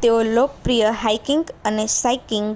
તેઓ લોકપ્રિય હાઇકિંગ અને સાઇકલિંગ